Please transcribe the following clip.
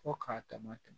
Fo k'a dama tɛmɛ